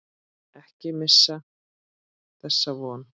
Ekki missa þessa von.